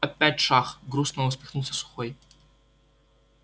опять шах грустно усмехнулся сухой